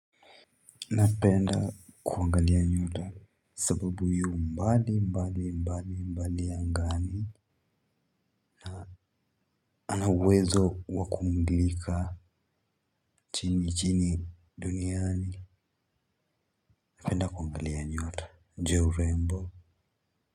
Napenda kuangalia nyota sababu ya mbali mbali mbali mbali angani. Ana uwezo wa kumulika chini chini duniani napenda kuangalia nyota. Juu ya urembo.